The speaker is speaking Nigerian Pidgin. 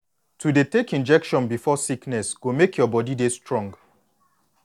to dey take injection before sickness go make your body dey strong